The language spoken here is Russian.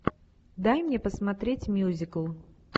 дай мне посмотреть мюзикл